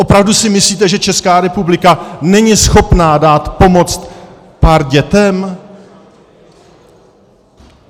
Opravdu si myslíte, že Česká republika není schopna dát pomoc pár dětem?